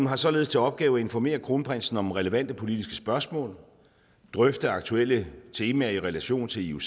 har således til opgave at informere kronprinsen om relevante politiske spørgsmål og drøfte aktuelle temaer i relation til ioc